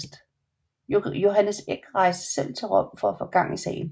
Johannes Eck rejste selv til Rom for at få gang i sagen